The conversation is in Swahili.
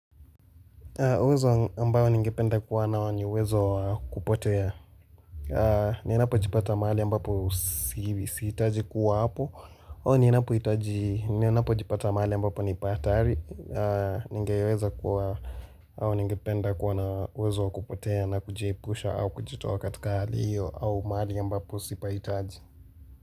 Uwezo ambao ningependa kuwa nao ni uwezo wa kupotea. Ninapojipata mahali ambapo sihitaji kuwa hapo. Ninapohitaji ninapojipata mahali ambapo ni pahatari. Nigeweza kuwa au ningependa kuwa na uwezo wa kupotea na kujiepusha au kujitoa katika hali hiyo au mahali ambapo sipahitaji.